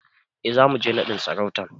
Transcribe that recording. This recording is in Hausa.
E, zamu je naɗin sarautar.